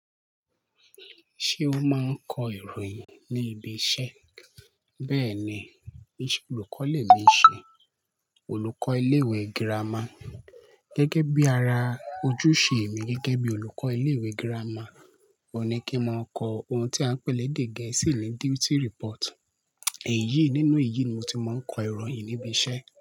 Ṣé ó máa ń kọ ìròyìn ní ibi iṣẹ́? Bẹ́ẹ̀ ni, iṣẹ olùkọ́ lè mi ṣe, olùkọ́ ilé ìwé gírámà. Gẹ́gẹ́ bí ara ojúṣe mi gẹ́gẹ́ bí olùkọ́ ilé ìwé gírámà, ó ní kí n máa kọ ohun tí à ń pè ní èdè Gẹ̀ẹ́sì ní duty report. Èyí nínú èyí ni mo ti máa ń kọ ìròyìn níbi iṣẹ́